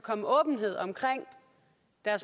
er